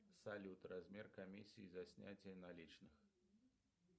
салют размер комиссии за снятие наличных